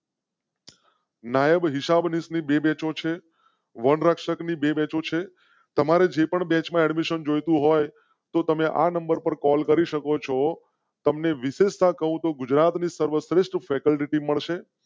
નાયબ હિસાબનીશ ની બેચો છે. વન રક્ષક ની બે મેચો છે. તમારે જે બેચ મિશન જોઈ તું હોય તો તમે આ નંબર પર કૉલ કરી શકો છો. તમ ને વિશેષતા કહું તો ગુજરાત ની સર્વશ્રેષ્ઠ ફેકલ્ટી મળશે.